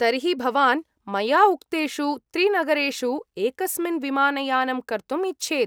तर्हि भवान् मया उक्तेषु त्रिनगरेषु एकस्मिन् विमानयानं कर्तुम् इच्छेत् ।